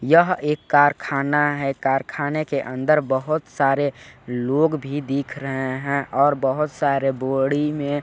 यह एक कारखाना है कारखाने के अंदर बहोत सारे लोग भी दिख रहे है और बहोत सारे बोड़ी में--